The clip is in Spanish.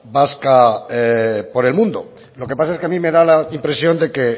vasca por el mundo lo que pasa es que a mí me da la impresión de que